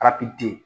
Arati di